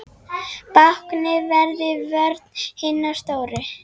Báknið verður vörn hinna stóru.